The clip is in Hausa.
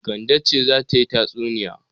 Kande ce za ta yi tatsunniya.